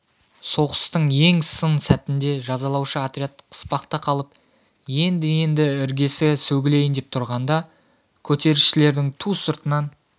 соғыстың ең сын сәтінде жазалаушы отряд қыспақта қалып енді-енді іргесі сөгілейін деп тұрғанда көтерілісшілердің ту сыртынан